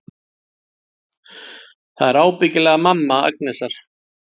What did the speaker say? Þetta er ábyggilega mamma Agnesar.